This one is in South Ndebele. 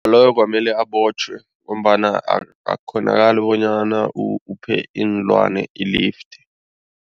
Loyo kwamele abotjhwe ngombana akukghonakali bonyana uphe iinlwane i-lift.